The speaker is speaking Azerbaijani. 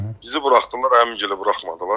Bizi buraxdılar, əmim gili buraxmadılar.